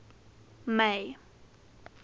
may